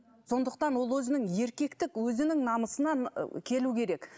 сондықтан ол өзінің еркектік өзінің намысынан ы келу керек